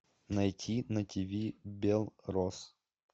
найти на тв белрос